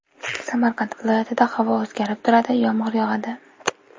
Samarqand viloyatida havo o‘zgarib turadi, yomg‘ir yog‘adi.